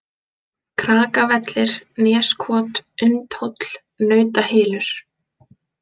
Krakavellir, Neskot, Undhóll, Nautahylur